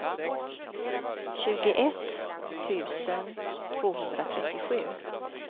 tjugoett tusen tvåhundratrettiosju